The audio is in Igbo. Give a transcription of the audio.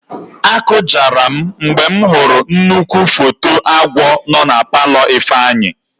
Akụjara m mgbe m hụrụ nnukwu foto agwọ nọ na palọ Ifeanyị.